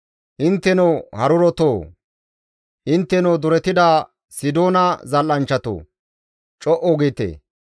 Intteno harurotoo! Intteno duretida Sidoona zal7anchchatoo! Co7u giite!